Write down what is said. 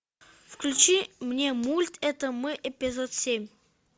включи мне мульт это мы эпизод семь